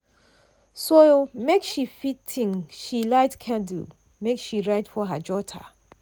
so make she fit think she light candle make she write for her jotter.